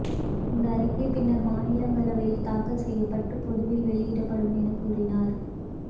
இந்த அறிக்கை பின்னர் மாநிலங்களவையில் தாக்கல் செய்யப்பட்டு பொதுவில் வெளியிடப்படும் எனக் கூறினார்